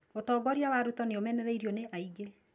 ũtongoria wa Ruto nĩ ũmenereirio nĩ aingĩ.